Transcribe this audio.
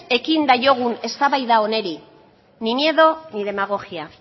ekin diezaiogun eztabaida honi ni miedo ni demagogia